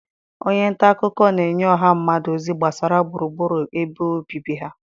Onye nta akụkọ na-enye ọha mmadụ ozi gbasara gburugburu ebe obibi ha..